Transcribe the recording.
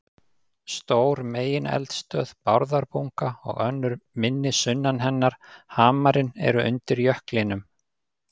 Stór megineldstöð, Bárðarbunga, og önnur minni sunnan hennar, Hamarinn, eru undir jöklinum.